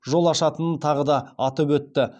жол ашатынын тағы да атап өтті